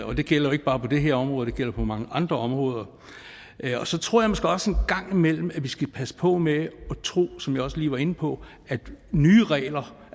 og det gælder jo ikke bare på det her område det gælder på mange andre områder så tror jeg måske også at vi en gang imellem skal passe på med at tro som jeg også lige var inde på at nye regler